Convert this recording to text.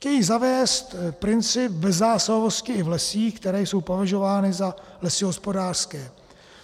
Chtějí zavést princip bezzásahovosti i v lesích, které jsou považovány za lesy hospodářské.